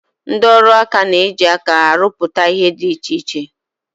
Ndị ọrụaka na-eji aka ha rụpụta ihe dị iche iche